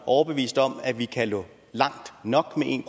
overbevist om at vi kan nå langt nok med en